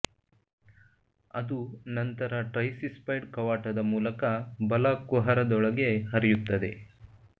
ಅದು ನಂತರ ಟ್ರೈಸಿಸ್ಪೈಡ್ ಕವಾಟದ ಮೂಲಕ ಬಲ ಕುಹರದೊಳಗೆ ಹರಿಯುತ್ತದೆ